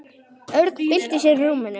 Örn bylti sér í rúminu.